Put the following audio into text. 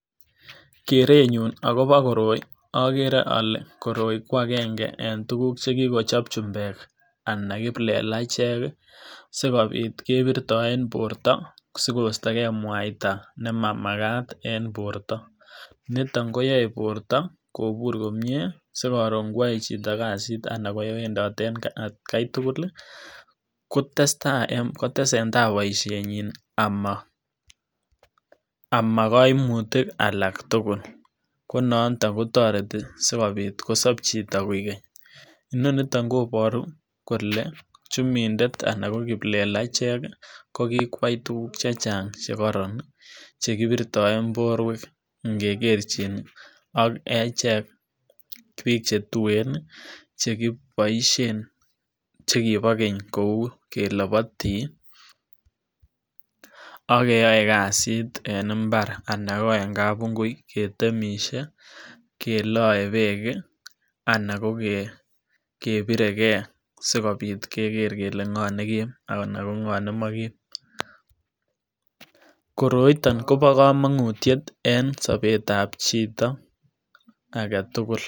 Kerenyun akobo koroi okere olee koroi kwakeng'e en tukuk chekikochop chumbek anan kiplelachek sikobit kebirtoen borto sikostoke mwaita nemamakat en borto, niton koyoe borto kobur komie sikobiit ngoyoe chito kasit anan kowendote en atkai tukul kotestaa kotesentaa boishenyin amaa koimutik alak tukul, ko nonton kotoreti sikopit kosop chito koik keny, inoniton koboru kolee chumindet anan ko kiplelachek ko kikwai tukuk chechang chekoron chekibirtoen borwek ing'ekerchin ak echek biik chetuen chekiboishen chekibo keny kouu kelopotii ak keyoe kasit en imbar anan ko en kabungui ketemishe, keloe beek anan ko kebirekee sikobiit keker kele ng'o nekim anan ko ng'o nemokim, koroiton kobokomongutiet en sobetab chito aketukul.